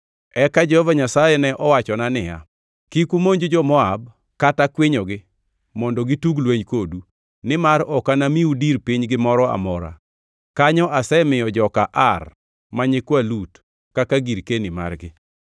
Eka Jehova Nyasaye ne owachona niya, “Kik umonj jo-Moab kata kwinyogi mondo gitug lweny kodu, nimar ok anamiu dir pinygi moro amora. Kanyo asemiyo joka Ar ma nyikwa Lut kaka girkeni margi.”